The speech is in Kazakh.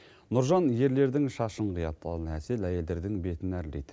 нұржан ерлердің шашын қияды ал әсел әйелдердің бетін әрлейді